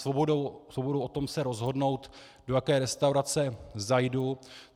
Svobodou o tom se rozhodnout do jaké restaurace zajdu.